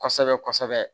Kɔsɛbɛ kɔsɛbɛ